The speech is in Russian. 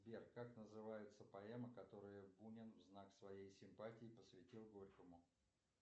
сбер как называется поэма которую бунин в знак своей симпатии посвятил горькому